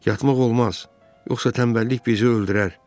Yatmaq olmaz, yoxsa tənbəllik bizi öldürər.